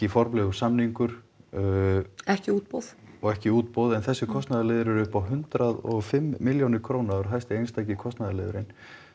formlegur samningur ekki útboð og ekki útboð en þessir kostnaðarliðir eru upp á hundrað og fimm milljónir króna og eru hæsti einstaki kostnaðarliðurinn